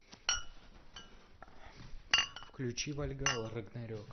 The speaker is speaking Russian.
включи вальгалла рагнарек